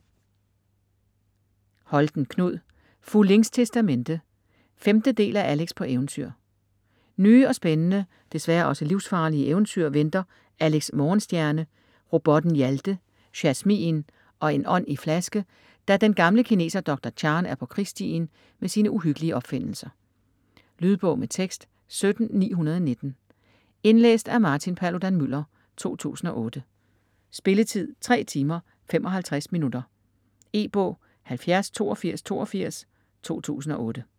Holten, Knud: Fu Ling's testamente 5. del af Alex på eventyr. Nye og spændende - desværre også livsfarlige - eventyr venter Alex Morgenstjerne, robotten Hjalte, Jasmin og en ånd-i-flaske, da den gamle kineser Doktor Chan er på krigsstien med sine uhyggelige opfindelser. Lydbog med tekst 17919 Indlæst af Martin Paludan-Müller, 2008. Spilletid: 3 timer, 55 minutter. E-bog 708282 2008.